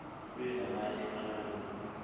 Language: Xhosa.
kunye namanye amalungu